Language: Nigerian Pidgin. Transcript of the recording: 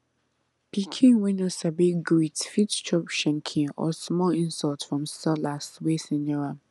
pikin wey no sabi greet fit chop shenkin or small insult from sellers wey senior am